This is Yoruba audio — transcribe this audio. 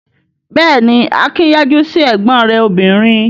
Bẹ́ẹ̀ ni, Akin yájú sí ẹ̀gbọ́n rẹ̀ obìnrin.